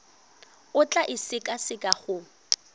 o tla e sekaseka go